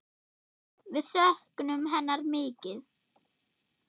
Við söknum hennar mikið.